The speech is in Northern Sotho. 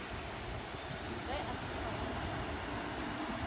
ge a fihla go ngaka